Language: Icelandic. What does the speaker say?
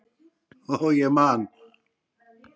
Og ég man.